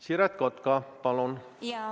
Siret Kotka, palun!